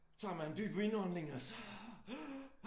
Tager man dyb indånding og så